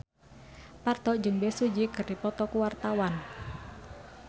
Parto jeung Bae Su Ji keur dipoto ku wartawan